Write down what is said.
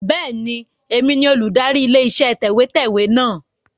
Bẹ́ẹ̀ni, èmi ni olùdarí ilé iṣẹ́ tẹ̀wẹ́tẹ́wẹ́ náà.